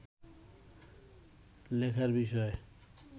লেখার বিষয়